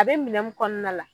A bɛ minɛ mun kɔnɔna la.